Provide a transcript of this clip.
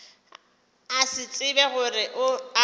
a se tsebe gore a